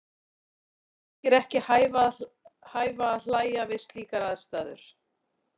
Okkur þykir ekki hæfa að hlæja við slíkar aðstæður.